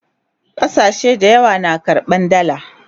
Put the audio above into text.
ƙasashe da yawa na karɓan dalla